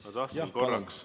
Ma tahtsin korraks ...